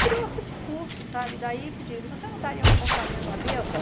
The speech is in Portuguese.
Criou-se esse curso, sabe, daí pediram, e você não daria comportamento à mesa?